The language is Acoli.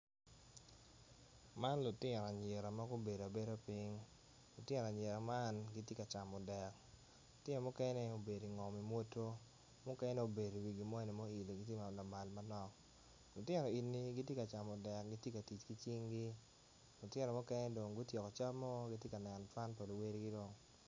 Man lutino anyira magubedo abeda piny lutino anyira man gitye ka camo dek lutino mukene gubedo ingo imwoto mukene obedo i wi gimoni muilo lamal manok lutino eni gitye ka camo dek gitye ka tic ki cingi lutino mukene dong gutyeko camoo kitye kaneno can pa luwadigi dong.